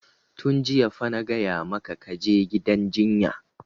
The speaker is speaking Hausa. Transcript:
Tun jiya fa na gaya maka ka je gidan jinya!